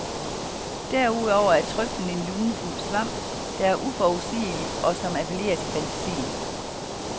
Derudover er trøflen en lunefuld svamp, der er uforudsigelig og som appellerer til fantasien.